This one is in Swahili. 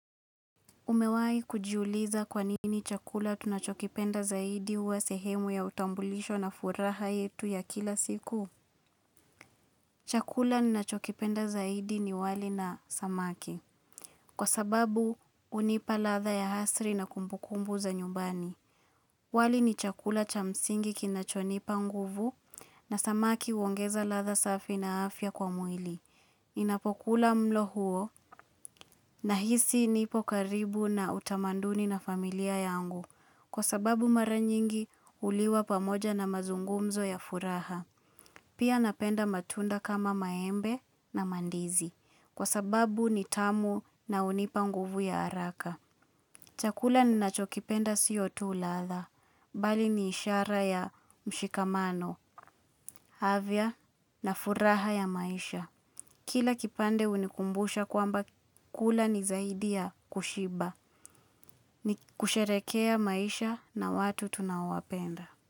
Umewahi kujiuliza kwa nini chakula tunachokipenda zaidi wa sehemu ya utambulisho na furaha yetu ya kila siku? Chakula ninachokipenda zaidi ni wali na samaki. Kwa sababu hunipa ladha ya asili na kumbukumbu za nyumbani. Wali ni chakula cha msingi kinachonipa nguvu na samaki huongeza ladha safi na afya kwa mwili. Ninapokula mlo huo nahisi nipo karibu na utamaduni na familia yangu. Kwa sababu mara nyingi huliwa pamoja na mazungumzo ya furaha. Pia napenda matunda kama maembe na mandizi. Kwa sababu ni tamu na hunipa nguvu ya haraka. Chakula ninachokipenda siyo tu ladha. Bali ni ishara ya mshikamano. Afya na furaha ya maisha. Kila kipande hunikumbusha kwamba kula ni zaidi ya kushiba. Ni kusherehekea maisha na watu tunaowapenda.